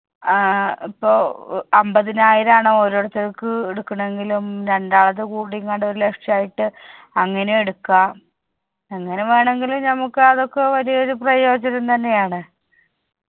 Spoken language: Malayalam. ആഹ് ഇപ്പൊ അമ്പതിനായിരാണ് ഓരോരുത്തർക്ക് എടുക്കണെങ്കിലും രണ്ടാളത് കൂടി എങ്ങാട് ഒരു ലക്ഷായിട്ട് അങ്ങനെ എടുക്കാ. അങ്ങനെ വേണെങ്കിലും ഞമ്മുക്ക് ആകൊക്കെ വലിയൊരു പ്രയോജനം തന്നെയാണ്.